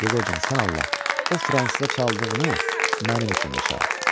Yeqorcan, sən Allah, o fransıza çaldığını mənim üçün də çal,